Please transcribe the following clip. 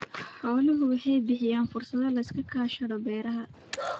Xooluhu waxay bixiyaan fursado la iskaga kaashado beeraha.